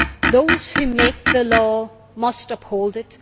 Those who make the law must uphold it.